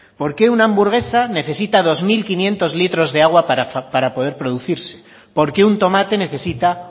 por qué una hamburguesa necesita dos mil quinientos litros para poder producirse por qué un tomate necesita